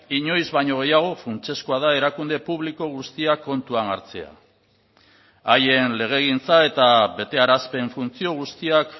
inoiz baino gehiago funtsezkoa da erakunde publiko guztiak kontuan hartzea haien legegintza eta betearazpen funtzio guztiak